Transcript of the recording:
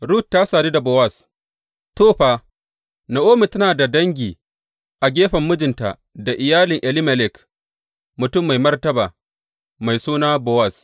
Rut ta sadu da Bowaz To, fa, Na’omi tana da dangi a gefen mijinta da iyalin Elimelek, mutum mai martaba, mai suna Bowaz.